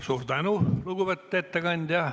Suur tänu, lugupeetud ettekandja!